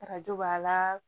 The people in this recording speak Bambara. Arajo b'a la